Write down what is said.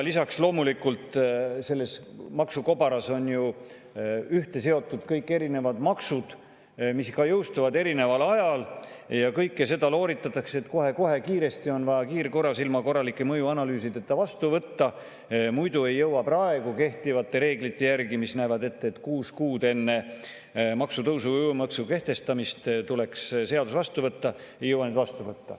Lisaks, selles maksukobaras on ühte seotud kõik erinevad maksud, mis ka jõustuvad erineval ajal, aga kõike seda looritatakse nii: kohe-kohe, kiiresti on vaja ilma korralike mõjuanalüüsideta vastu võtta, sest muidu ei jõuta seda praegu kehtivate reeglite järgi teha, kuna need näevad ette, et kuus kuud enne maksutõusu või uue maksu kehtestamist tuleks seadus vastu võtta.